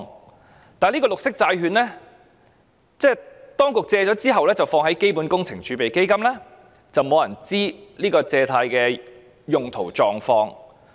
然而，對於綠色債券，當局借款後便會放在基本工程儲備基金，沒有人知道借款的用途及狀況。